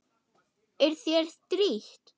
Er þér strítt?